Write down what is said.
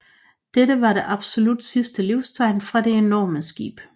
Dette var det absolut sidste livstegn fra det enorme skib